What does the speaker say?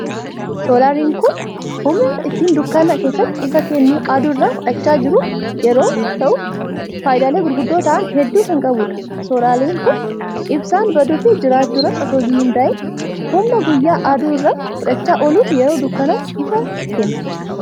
Soolaariin kun humna ittiin dukkana keessatti ifa kennu aduu irraa fudhachaa jiru yeroo ta'u, faayidaalee gurguddoo ta'an hedduu kan qabudha. Soolaariin kun ibsaan baduu fi jiraachuu irratti otoon hundaa'iin humna guyyaa aduu irraa fudhachaa ooluun yeroo dukkanaatti ifa kenna.